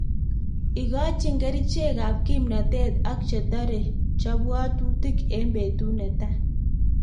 Igochin kerichekab kimnotet ak chetore jobwotutik en betut netai.